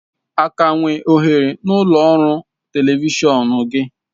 Aga enwe ohere n'ụlọ ọrụ telivishọn gị?